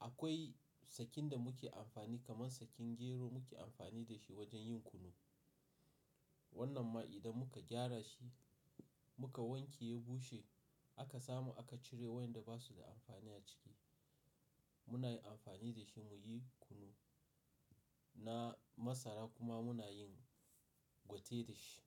akwai sakin da muke amfani kamar sakin gero muke amfani da shi wajen yin kunu. Wannan ma idan muka gyara shi muka wanke ya bushe aka samu aka cire wa'inda ba su da amfani a ciki, muna yi amfani da shi mu yi kunu na masara kuma muna yin gwate da shi.